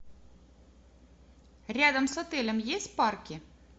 рядом с отелем есть парки